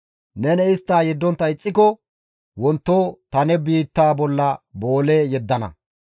Neni istta yeddontta ixxiko wonto ta ne biittaa bolla boole yeddana.